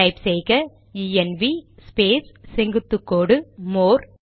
type செய்க ENV space செங்குத்து கோடு மோர்